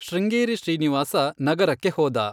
ಶೃಂಗೇರಿ ಶ್ರೀನಿವಾಸ ನಗರಕ್ಕೆ ಹೋದ.